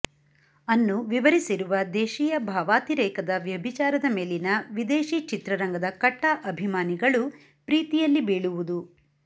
ಅನ್ನು ವಿವರಿಸಿರುವ ದೇಶೀಯ ಭಾವಾತಿರೇಕದ ವ್ಯಭಿಚಾರದ ಮೇಲಿನ ವಿದೇಶಿ ಚಿತ್ರರಂಗದ ಕಟ್ಟಾ ಅಭಿಮಾನಿಗಳು ಪ್ರೀತಿಯಲ್ಲಿ ಬೀಳುವುದು